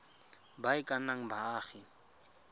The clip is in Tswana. ba e ka nnang baagi